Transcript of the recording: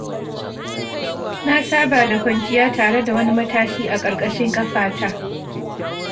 Na saba da kwanciya tare da wani matashi a ƙarƙashin kafa ta.